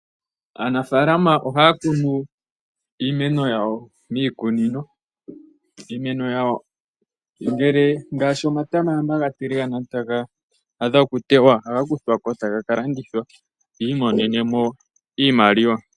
Aanafalama ohaya kunu iimeno yawo miikunino ,iimeno yawo ngaashi omatama shampa ga tiligana etaga adha okutewa ohaga kuthwako etaga ka landithwa yi imonene mo iimaliwa.